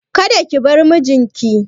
Kada ki bar mijin ki!